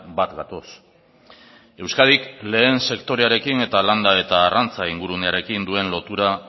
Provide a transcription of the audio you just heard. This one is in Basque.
bat gatoz euskadik lehen sektorearekin eta landa eta arrantza ingurunearekin duen lotura